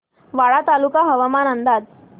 वाडा तालुका हवामान अंदाज